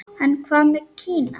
En hvað með Kína?